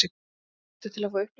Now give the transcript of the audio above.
Réttur til að fá upplýsingar.